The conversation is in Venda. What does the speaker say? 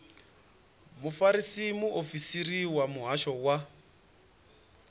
mufarisa muofisiri wa muhasho wa